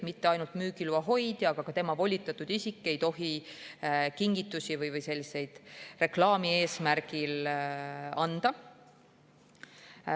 Mitte ainult müügiloa hoidja, vaid ka tema volitatud isik ei tohi kingitusi reklaami eesmärgil anda.